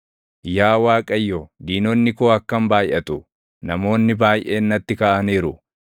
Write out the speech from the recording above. Yaa Waaqayyo, diinonni koo akkam baayʼatu! Namoonni baayʼeen natti kaʼaniiru!